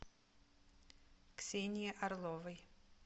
ксении орловой